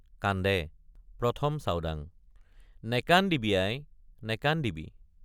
কান্দে ১ম চাওডাং—নেকান্দিবি আই নেকান্দিবি।